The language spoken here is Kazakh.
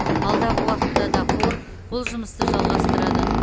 алдағы уақытта да қор бұл жұмысты жалғастырады